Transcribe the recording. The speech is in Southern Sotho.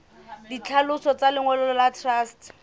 ditlhaloso tsa lengolo la truste